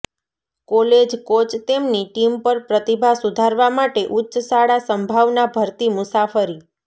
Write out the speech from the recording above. college coach તેમની team પર પ્રતિભા સુધારવા માટે ઉચ્ચ શાળા સંભાવના ભરતી મુસાફરી